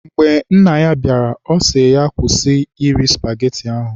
Mgbe nna ya bịara, ọ sị ya, kwụsị iri spageti ahụ!